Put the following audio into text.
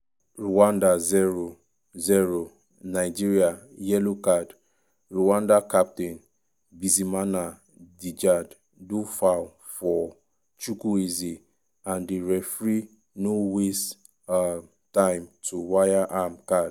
rwanda 0-0 nigeria yellow card' rwanda captain bizimana djihad do foul for chukwueze and di referee no waste um time to waya am card.